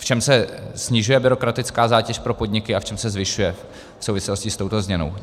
V čem se snižuje byrokratická zátěž pro podniky a v čem se zvyšuje v souvislosti s touto změnou.